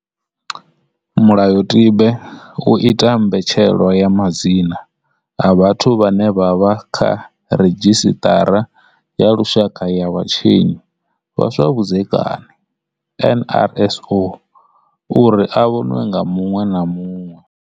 Mulayotibe u ita mbetshelwa ya madzina a vhathu vhane vha vha kha ridzhisiṱara ya lushaka ya vhatshinyi vha zwa vhudzekani NRSO uri a vhonwe nga muṅwe na muṅwe.